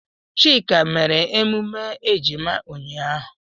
Chika mere emume ejima ya ụnyahụ.